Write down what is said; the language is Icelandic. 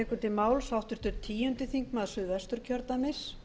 við hljótum öll að vinna að samstöðu